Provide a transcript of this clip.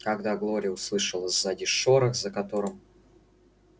когда глория услышала сзади шорох за которым